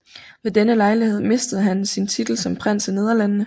Ved denne lejlighed mistede han sin titel som prins af Nederlandene